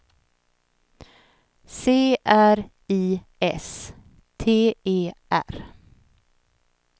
C R I S T E R